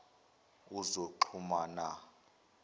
wozoxhumana